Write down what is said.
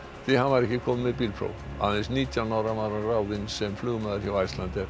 því hann var ekki kominn með bílpróf aðeins nítján ára var hann ráðinn sem flugmaður hjá Icelandair